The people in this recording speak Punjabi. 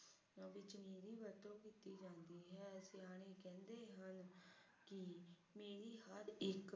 ਕੀ ਮੇਰੀ ਹਰ ਇਕ